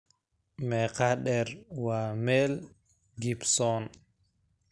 meeqa dheer waa mel gibson